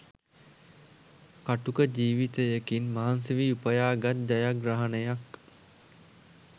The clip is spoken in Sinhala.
කටුක ජීවිතයකින් මහන්සි වී උපයාගත් ජයග්‍රහණයක්.